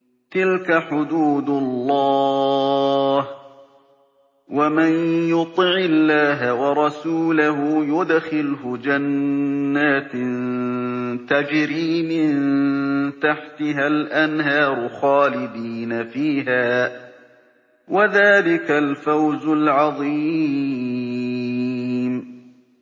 تِلْكَ حُدُودُ اللَّهِ ۚ وَمَن يُطِعِ اللَّهَ وَرَسُولَهُ يُدْخِلْهُ جَنَّاتٍ تَجْرِي مِن تَحْتِهَا الْأَنْهَارُ خَالِدِينَ فِيهَا ۚ وَذَٰلِكَ الْفَوْزُ الْعَظِيمُ